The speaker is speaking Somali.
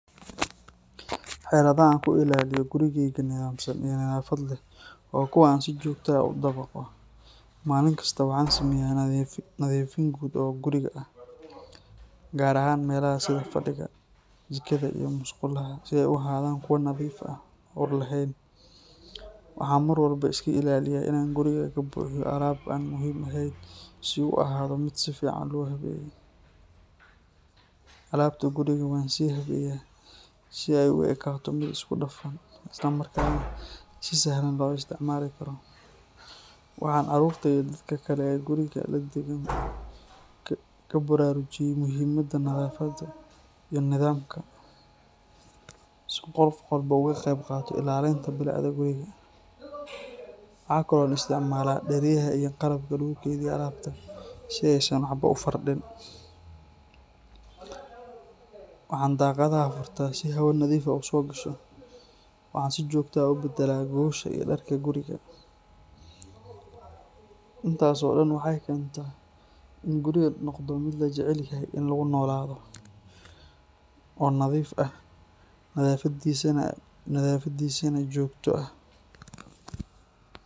Xeeladaha aan ku ilaaliyo gurigayga nidaamsan iyo nadaafad leh waa kuwo aan si joogto ah u dabaqo. Maalin kasta waxaan sameeyaa nadiifin guud oo guriga ah, gaar ahaan meelaha sida fadhiga, jikada, iyo musqulaha, si ay u ahaadaan kuwo nadiif ah oo ur lahayn. Waxaan mar walba iska ilaaliyaa inaan guriga ka buuxiyo alaab aan muhiim ahayn si uu u ahaado mid si fiican loo habeeyey. Alaabta guriga waan sii habeeyaa si ay u ekaato mid isku dhafan, islamarkaana si sahlan loo isticmaali karo. Waxaan carruurta iyo dadka kale ee guriga la deggan ku baraarujiyay muhiimadda nadaafadda iyo nidaamka, si qof walba uu uga qayb qaato ilaalinta bilicda guriga. Waxa kale oo aan isticmaalaa dheryaha iyo qalabka lagu kaydiyo alaabta si aysan waxba u firdhin. Waxaan daaqadaha furtaa si hawo nadiif ah u soo gasho, waxaana si joogto ah u beddelaa gogosha iyo dharka guriga. Intaas oo dhan waxay keentaa in gurigu noqdo meel la jecel yahay in lagu noolaado, oo nadiif ah, nadaafadiisana joogto ah.